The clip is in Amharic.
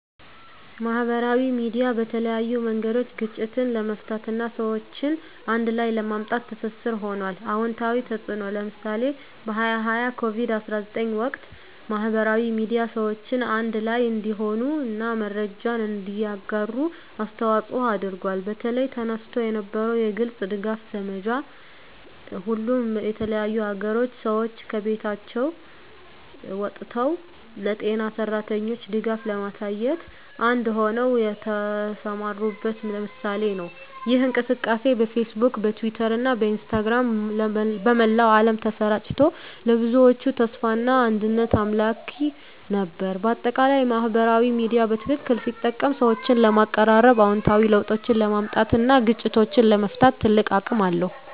ማህበራዊ ሚዲያ በተለያዩ መንገዶች ግጭትን ለመፍታት እና ሰዎችን አንድ ላይ ለማምጣት ትስስር ሆኗል። #*አዎንታዊ ተፅዕኖ (ምሳሌ) በ2020 በኮቪድ-19 ወቅት፣ ማህበራዊ ሚዲያ ሰዎችን አንድ ላይ እንዲሆኑ እና መረጃን እንዲያጋሩ አስተዋፅዖ አድርጓል። በተለይ፣ ተነስቶ የነበረው የግልጽ ድጋፍ ዘመቻ፣ ሁሉም የተለያዩ አገሮች ሰዎች ከቤቶቻቸው ወጥተው ለጤና ሠራተኞች ድጋፍ ለማሳየት አንድ ሆነው የተሰማሩበት ምሳሌ ነው። ይህ እንቅስቃሴ በፌስቡክ፣ በትዊተር እና በኢንስታግራም በመላው ዓለም ተሰራጭቶ፣ ለብዙዎች ተስፋና አንድነት አምላኪ ነበር። በአጠቃላይ፣ ማህበራዊ ሚዲያ በትክክል ሲጠቀም ሰዎችን ለማቀራረብ፣ አዎንታዊ ለውጦችን ለማምጣት እና ግጭቶችን ለመፍታት ትልቅ አቅም አለው።